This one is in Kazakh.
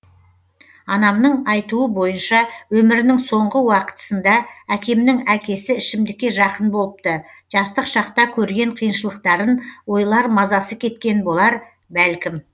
анамның айтуы бойынша өмірінің соңғы уақытысында әкемнің әкесі ішімдікке жақын болыпты жастық шақта көрген қиыншылықтарын ойлар мазасы кеткен болар бәлкім